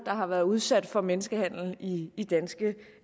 har været udsat for menneskehandel i i danske